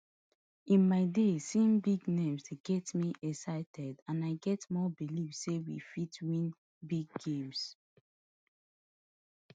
in my days seeing big names dey get me excited and i get more belief say we fit win big games